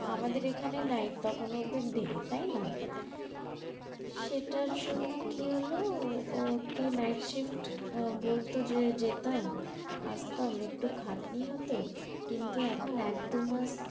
আমাদের এখানে night তখন ওদের day তাই না সেটার জন্য কি হলো ওকে night shift বলতো যে যেতাম আসতাম একটু খাটনি হতো, কিন্তু এখন এক দু মাস